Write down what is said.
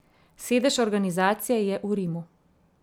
Sedež organizacije je v Rimu.